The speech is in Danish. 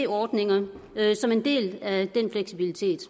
ordninger som en del af den fleksibilitet